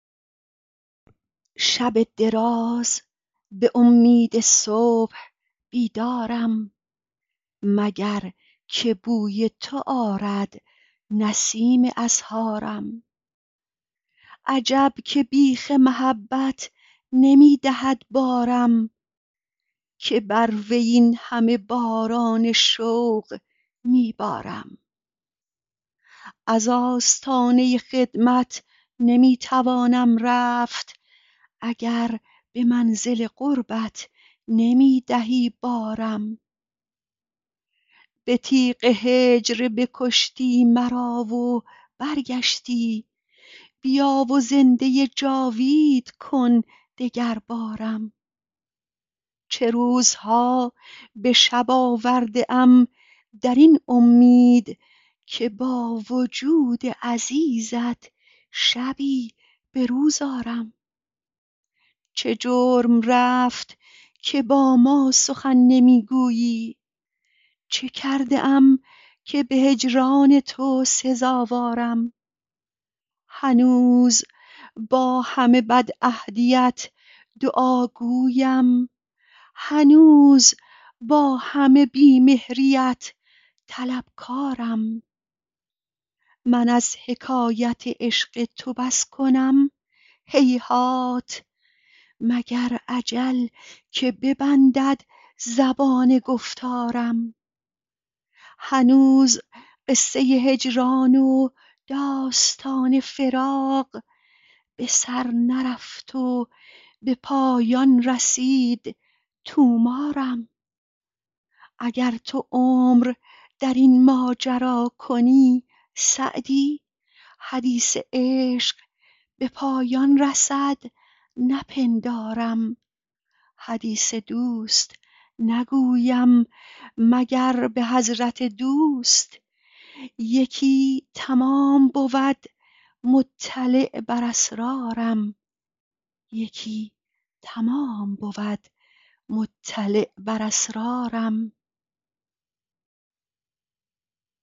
شب دراز به امید صبح بیدارم مگر که بوی تو آرد نسیم اسحارم عجب که بیخ محبت نمی دهد بارم که بر وی این همه باران شوق می بارم از آستانه خدمت نمی توانم رفت اگر به منزل قربت نمی دهی بارم به تیغ هجر بکشتی مرا و برگشتی بیا و زنده جاوید کن دگربارم چه روزها به شب آورده ام در این امید که با وجود عزیزت شبی به روز آرم چه جرم رفت که با ما سخن نمی گویی چه کرده ام که به هجران تو سزاوارم هنوز با همه بدعهدیت دعاگویم هنوز با همه بی مهریت طلبکارم من از حکایت عشق تو بس کنم هیهات مگر اجل که ببندد زبان گفتارم هنوز قصه هجران و داستان فراق به سر نرفت و به پایان رسید طومارم اگر تو عمر در این ماجرا کنی سعدی حدیث عشق به پایان رسد نپندارم حدیث دوست نگویم مگر به حضرت دوست یکی تمام بود مطلع بر اسرارم